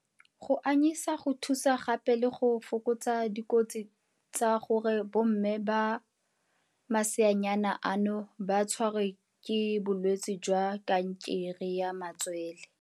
Go anyisa go thusa gape le go fokotsa dikotsi tsa gore bomme ba maseanyana ano ba tshwarwe ke bolwetse jwa kankere ya matswele.